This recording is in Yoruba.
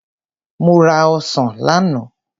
Mo ra ọsàn lánàá.